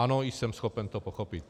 Ano, jsem schopen to pochopit.